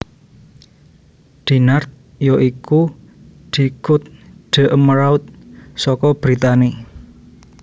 Dinard ya iku di Cote d Emeraude saka Brittany